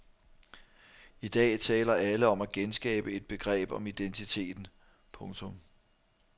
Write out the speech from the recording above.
I dag taler alle om at genskabe et begreb om identiteten. punktum